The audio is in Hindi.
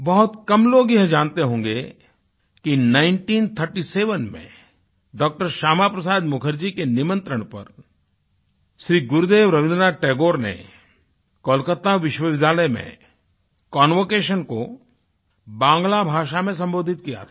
बहुत कम लोग ये जानते होंगे कि 1937 में डॉ० श्यामा प्रसाद मुखर्जी के निमंत्रण पर श्री गुरुदेव रवीन्द्रनाथ टैगोर ने कोलकाता विश्वविद्यालय में कन्वोकेशन को बांग्ला भाषा में संबोधित किया था